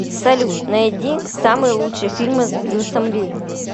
салют найди самые лучшие фильмы с брюсом ли